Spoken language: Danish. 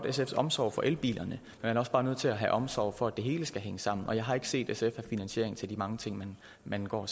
sfs omsorg for elbiler man er også bare nødt til at have omsorg for det hele så hænge sammen og jeg har ikke set at sf har finansiering til de mange ting man går